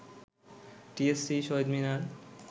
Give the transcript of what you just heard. TSC, Shaheed Minar